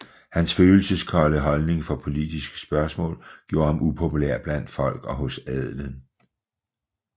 Hans følelseskolde holdning for politiske spørgsmål gjorde ham upopulær blandt folk og hos adelen